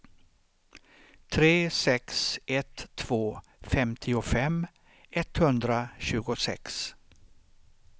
tre sex ett två femtiofem etthundratjugosex